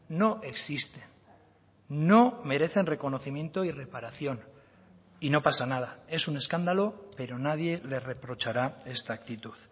no existen no merecen reconocimiento y reparación y no pasa nada es un escándalo pero nadie le reprochará esta actitud